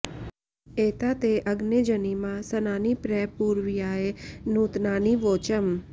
एता ते अग्ने जनिमा सनानि प्र पूर्व्याय नूतनानि वोचम्